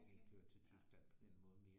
Jeg kan ikke køre til Tyskland på den måde mere